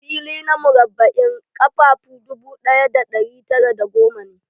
Fili na murabba'in ƙafafu dubu ɗaya ɗari tara da goma ne.